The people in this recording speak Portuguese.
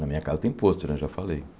Na minha casa tem pôster né, já falei.